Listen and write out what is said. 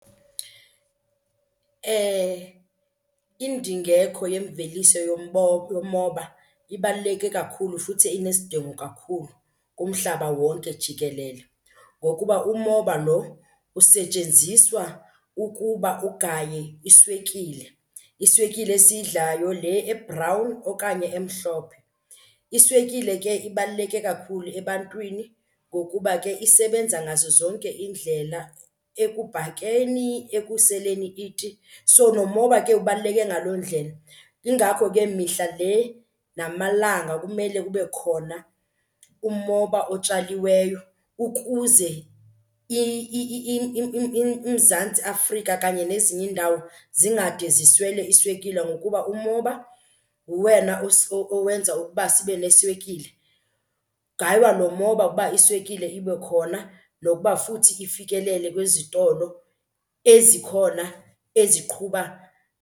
Indingeko yemveliso yomoba ibaluleke kakhulu futhi inesidingo kakhulu kumhlaba wonke jikelele ngokuba umoba lo usetyenziswa ukuba ugaye iswekile, iswekile esiyidlayo le ebhrawuni okanye emhlophe. Iswekile ke ibaluleke kakhulu ebantwini ngokuba ke isebenza ngazo zonke iindlela, ekubhakeni, ekuseleni iti. So nomoba ke ubaluleke ngaloo ndlela, yingakho ke mihla le namalanga kumele kube khona umoba otshaliweyo ukuze uMzantsi Afrika kanye nezinye iindawo zingade ziswele iswekile ngokuba umoba nguwena owenza ukuba sibe neswekile. Kugaywa lo moba uba iswekile ibe khona nokuba futhi ifikelele kwizitolo ezikhona eziqhuba.